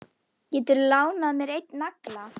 Geturðu lánað mér einn nagla.